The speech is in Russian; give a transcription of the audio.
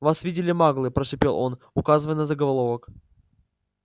вас видели маглы прошипел он указывая на заголовок